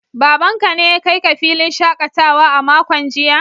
Babanka ne ya kai ka filin shakatawa a makon jiya?